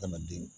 Adamaden